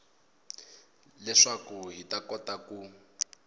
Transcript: leswaku hi ta kota ku